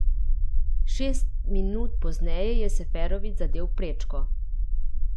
Šest minuti pozneje je Seferović zadel prečko.